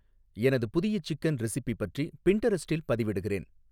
எனது புதிய chicken recipe பற்றி பின்டெரெஸ்ட்டில் பதிவிடுகிறேன்